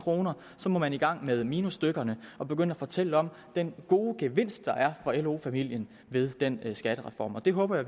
og så må man i gang med minusstykkerne og begynde at fortælle om den gode gevinst der er for lo familien med den skattereform og det håber